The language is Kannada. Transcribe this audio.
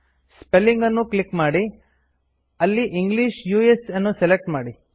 ಸ್ಪೆಲ್ಲಿಂಗ್ ಅನ್ನು ಕ್ಲಿಕ್ ಮಾಡಿ ಅಲ್ಲಿ ಇಂಗ್ಲಿಷ್ ಉಸ್ ಅನ್ನು ಸೆಲೆಕ್ಟ್ ಮಾಡಿ